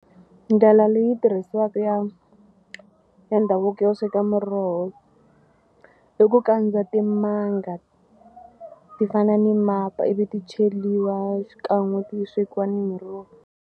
Ndlela leyi tirhisiwaka ya ya ndhavuko yo sweka muroho i ku kandza timanga ti fana ni mapa ivi ti cheliwa xikan'we ti swekiwa na miroho.